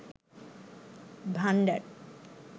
ভান্ডার